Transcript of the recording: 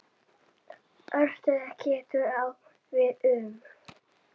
Örtölva getur átt við um